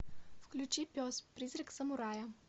включи пес призрак самурая